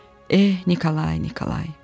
Eh, Nikolay, Nikolay.